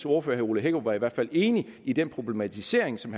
ordfører herre ole hækkerup var i hvert fald enig i den problematisering som